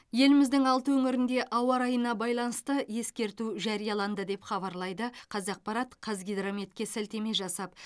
еліміздің алты өңірінде ауа райына байланысты ескерту жарияланды деп хабарлайды қазақпарат қазгидрометке сілтеме жасап